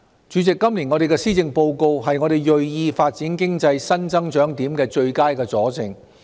主席，今年的施政報告是我們銳意發展經濟新增長點的最佳佐證。